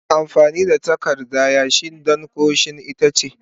Ana amfani da takarda yashi don kaushin itace.